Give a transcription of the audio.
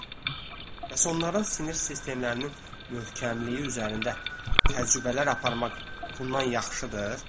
Bəs onların sinir sistemlərinin möhkəmliyi üzərində təcrübələr aparmaq bundan yaxşıdır?